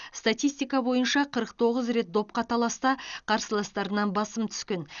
статистика бойынша қырық тоғыз рет допқа таласта қарсыластарынан басым түскен